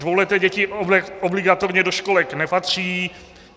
Dvouleté děti obligatorně do školek nepatří.